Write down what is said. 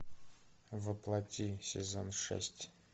во плоти сезон шесть